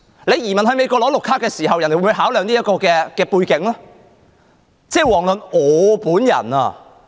你移民到美國領取綠卡時，美國會否考量這個背景？